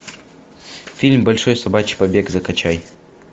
фильм большой собачий побег закачай